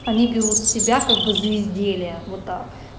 они берут с тебя как бы за изделие вот так